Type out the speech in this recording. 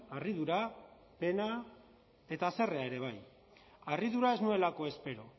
harridura pena eta haserrea ere bai harridura ez nuelako espero